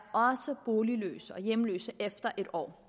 boligløse og hjemløse efter et år